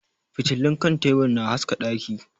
Fitilun kan tebur na haska daki.